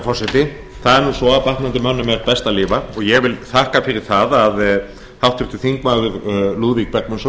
nú svo að batnandi mönnum er best að lifa og ég vil þakka fyrir það að háttvirtir þingmenn lúðvík bergvinsson